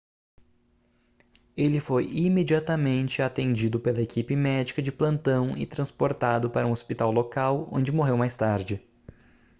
ele foi imediatamente atendido pela equipe médica de plantão e transportado para um hospital local onde morreu mais tarde